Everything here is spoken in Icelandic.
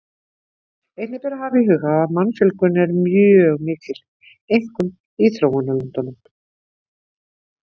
Einnig ber að hafa í huga að mannfjölgun er mjög mikil, einkum í þróunarlöndunum.